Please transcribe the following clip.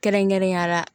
Kɛrɛnkɛrɛnnenya la